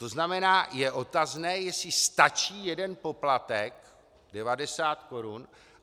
To znamená je otazné, jestli stačí jeden poplatek 90 korun.